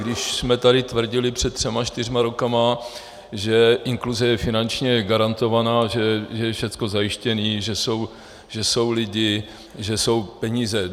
Když jsme tady tvrdili před třemi, čtyřmi roky, že inkluze je finančně garantovaná, že je všecko zajištěné, že jsou lidi, že jsou peníze.